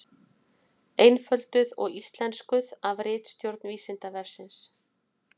Einfölduð og íslenskuð af ritstjórn Vísindavefsins.